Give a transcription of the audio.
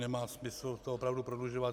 Nemá smysl to opravdu prodlužovat.